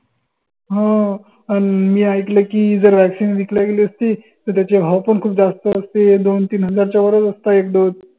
हो अन मी आइकल की जर, vaccine विकल्या गेली असती त त्याचे भाव पण खूप जास्त असते दोन तीन हजाराच्या वरच असता एक dose